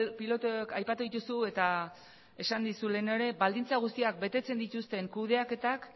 pilotoak aipatu dituzu eta esan dizut lehenago ere baldintza guztiak betetzen dituzten kudeaketak